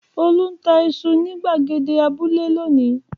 Olú ń ta iṣu ní ìgbàgede abúlé lónìí!